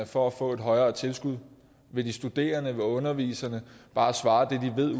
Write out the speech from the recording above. for at få et højere tilskud vil de studerende og underviserne bare svare det de ved